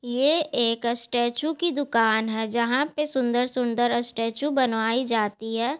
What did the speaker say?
ये एक स्टैचू की दुकान है जहां पे सुंदर-सुंदर स्टैचू बनवाई जाती है।